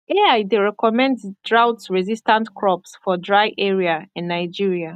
ai dey recommend droughtresistant crops for dry area in nigeria